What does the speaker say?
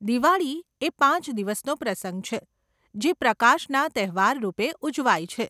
દિવાળી એ પાંચ દિવસનો પ્રસંગ છે જે પ્રકાશના તહેવાર રૂપે ઉજવાય છે.